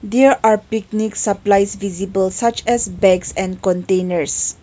there are picnic supplies visible such as bags and containers.